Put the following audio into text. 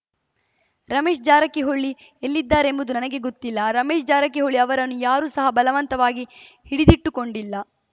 ರಮೇಶ್‌ ಜಾರಕಿಹೊಳಿ ಎಲ್ಲಿದ್ದಾರೆಂಬುದು ನನಗೆ ಗೊತ್ತಿಲ್ಲ ರಮೇಶ್‌ ಜಾರಕಿಹೊಳಿ ಅವರನ್ನು ಯಾರೂ ಸಹ ಬಲವಂತವಾಗಿ ಹಿಡಿದಿಟ್ಟುಕೊಂಡಿಲ್ಲ